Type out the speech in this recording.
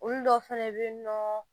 Olu dɔw fɛnɛ bɛ yen nɔ